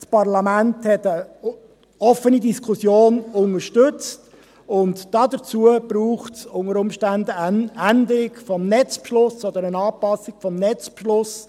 Das Parlament hat eine offene Diskussion unterstützt, und dazu braucht es unter Umständen eine Änderung oder eine Anpassung des Netzbeschlusses.